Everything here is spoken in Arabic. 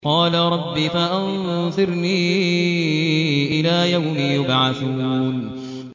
قَالَ رَبِّ فَأَنظِرْنِي إِلَىٰ يَوْمِ يُبْعَثُونَ